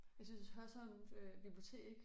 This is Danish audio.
Jeg synes Hørsholm øh bibliotek